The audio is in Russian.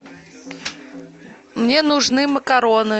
мне нужны макароны